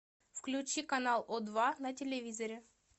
включи канал о два на телевизоре